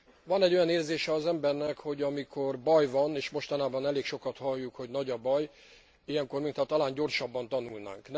Van egy olyan érzése az embernek, hogy amikor baj van és mostanában elég sokat halljuk, hogy nagy a baj ilyenkor mintha talán gyorsabban tanulnánk.